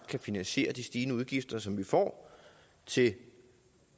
kan finansiere de stigende udgifter som vi får til